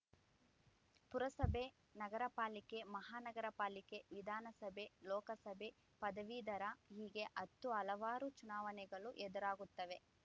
ಪುರಸಭೆ ನಗರ ಪಾಲಿಕೆ ಮಹಾನಗರ ಪಾಲಿಕೆ ವಿಧಾನಸಭೆ ಲೋಕಸಭೆ ಪದವೀಧರ ಹೀಗೆ ಹತ್ತು ಹಲವಾರು ಚುನಾವಣೆಗಳು ಎದುರಾಗುತ್ತವೆ